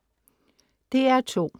DR2: